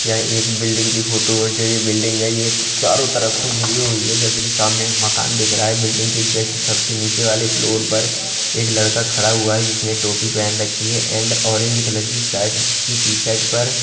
यह एक बिल्डिंग की फोटो है जो ये बिल्डिंग है ये चारों तरफ से घीरी हुई है जैसे कि सामने मकान दिख रहा है बिल्डिंग के जस्ट सबसे नीचे वाले फ्लोर पर एक लड़का खड़ा हुआ है जिसने टोपी पहन रखी है एंड ऑरेंज कलर की शर्ट जिसकी टीशर्ट पर--